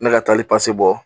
Ne ka taali bɔ